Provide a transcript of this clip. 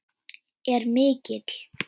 er mikill.